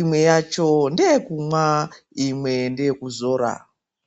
Imwe yacho ndeyekumwa, imwe ndeyekuzora.